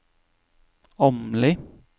Åmli